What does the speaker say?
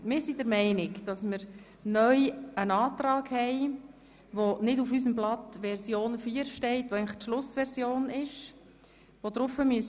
Es liegt neu ein Antrag vor, der nicht auf der Schlussversion der Anträge, also Version 4, vorhanden ist.